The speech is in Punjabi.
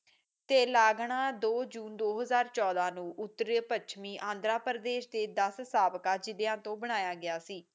ਤੇ ਲੱਗਣਾ ਦੋ ਜੂਨ ਦੋ ਹਜ਼ਾਰ ਚੋਦਾ ਨੂੰ ਉੱਤਰ ਪੁੱਛਮੀ ਆਂਧਰਾ ਪ੍ਰਦੇਸ ਤੇ ਦਾਸ ਸਾਬਕਾ ਜਿਲਿਆਂ ਤੋਂ ਬਣਾਇਆ ਗਿਆ ਸੀ